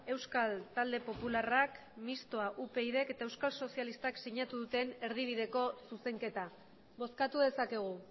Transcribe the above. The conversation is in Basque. euskal talde popularrak mistoa upydk eta euskal sozialistak sinatu duten erdibideko zuzenketa bozkatu dezakegu